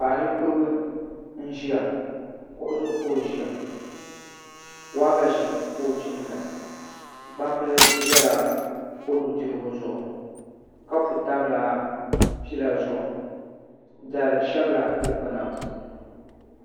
Paɣa ninkurigu n ʒiya kuɣu zuɣu ka o ʒiya waagashe ka o chimda gbambili ʒɛla o nudirigu zuɣu kapu tamla pila zuɣu dari shɛbla di kpuna puuni